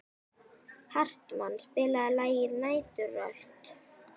Hartmann, spilaðu lagið „Næturrölt“.